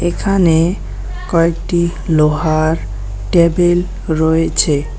এখানে কয়েকটি লোহার টেবিল রয়েছে।